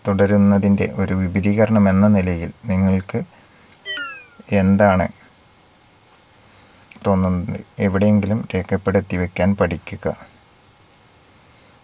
തുടരുന്നതിൻറെ ഒരു വിപുലീകരണം എന്ന നിലയിൽ നിങ്ങൾക്ക് എന്താണ് തോന്നുന്നത് എവിടെയെങ്കിലും രേഖപ്പെടുത്തി വെക്കാൻ പഠിക്കുക